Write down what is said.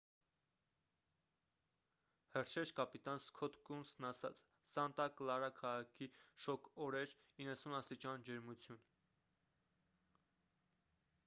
հրշեջ կապիտան սքոթ կունսն ասաց սանտա կլարա քաղաքի շոգ օր էր 90 աստիճան ջերմություն